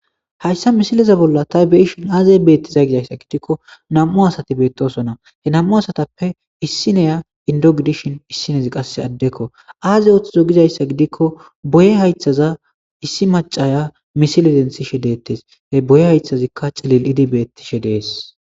Hayssa misileza bolla tha be7ashe aazee beeththizay gizeysa gidiko nam7u asathi beeththoosona; he nam7u asathappe issi na7iya inddo gidishin issi na7izi qassi addekoo; aazee ooththiday gizayssa gidikko boye hayththaza issi maccara misle denththishe deeththes; he boye haythaththikka cilil7idi beeththishe de7ees.